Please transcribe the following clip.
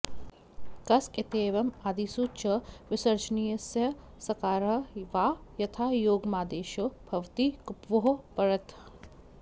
कस्क इत्येवम् आदिसु च विसर्जनीयस्य सकारः वा यथायोगमादेशो भवति कुप्वोः परतः